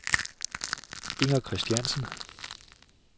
Inger Kristiansen